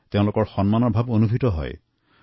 এইদৰে তেওঁলোকৰ আত্মবিশ্বাস বাঢ়ি গৈছে